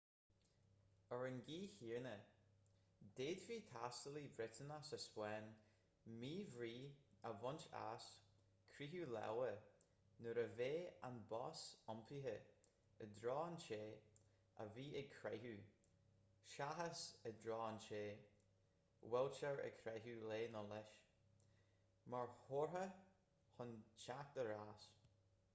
ar an gcaoi chéanna d'fhéadfadh taistealaí briotanach sa spáinn míbhrí a bhaint as croitheadh láimhe nuair a bheadh an bos iompaithe i dtreo an té a bhí ag croitheadh seachas i dtreo an té a bhfuiltear ag croitheadh léi/leis mar chomhartha chun teacht ar ais